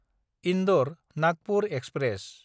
Indore Nagpur express